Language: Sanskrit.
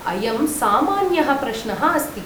अयं सामान्यः प्रश्नः अस्ति।